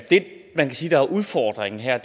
det man kan sige er udfordringen her